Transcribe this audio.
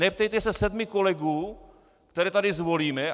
Neptejte se sedmi kolegů, které tady zvolíme.